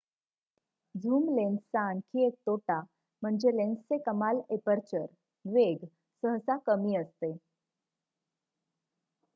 zoom लेन्सचा आणखी एक तोटा म्हणजे लेन्सचे कमाल एपर्चर वेग सहसा कमी असते